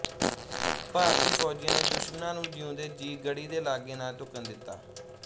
ਭਾਰਤੀ ਫੌਜੀਆਂ ਨੇ ਦੁਸ਼ਮਣਾਂ ਨੂੰ ਜਿਉਂਦੇ ਜੀਅ ਗੜ੍ਹੀ ਦੇ ਲਾਗੇ ਨਾ ਢੁੱਕਣ ਦਿੱਤਾ